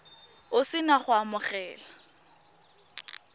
o se na go amogela